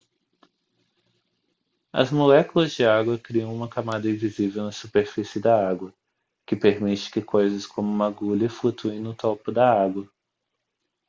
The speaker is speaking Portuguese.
as moléculas de água criam uma camada invisível na superfície da água que permite que coisas como uma agulha flutuem no topo da água